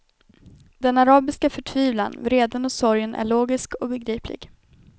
Den arabiska förtvivlan, vreden och sorgen är logisk och begriplig.